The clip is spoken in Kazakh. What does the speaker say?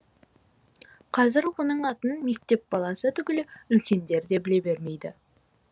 қазір оның атын мектеп баласы түгілі үлкендер де біле бермейді